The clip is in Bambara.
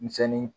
Misɛnnin